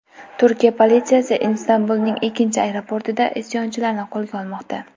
Turkiya politsiyasi Istanbulning ikkinchi aeroportida isyonchilarni qo‘lga olmoqda.